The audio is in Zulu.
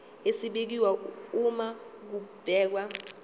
esibekiwe uma kubhekwa